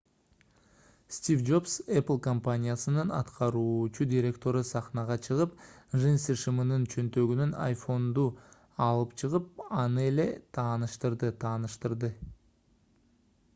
стив джобс apple компаниясынын аткаруучу директору сахнага чыгып джинсы шымынын чөнтөгүнөн iphone’ду алып чыгып аны эле тааныштырды тааныштырды